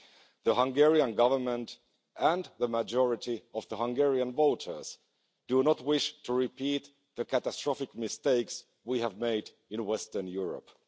The Hungarian Government and the majority of Hungarian voters do not wish to repeat the catastrophic mistakes we have made in Western Europe.